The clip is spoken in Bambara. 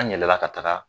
An yɛlɛla ka taga